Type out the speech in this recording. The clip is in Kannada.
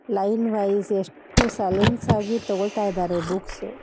ಲೈನ್ ವೈಸ್ ಎಷ್ಟು ಸೈಲೆನ್ಸ್ ಆಗಿ ತಗೋಳ್ತಾಯಿದಾರೆ ಬುಕ್ಸ್ --